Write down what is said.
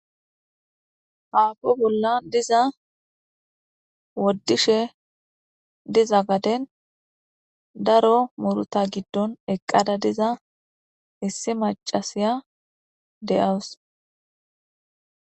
haako bollan diza woddishe diza gaden daro muruta giddon eqqada diza issi macasiya de7awus